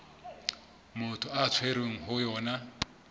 motho a tshwerweng ho yona